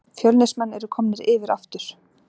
Fjölnismenn eru komnir yfir aftur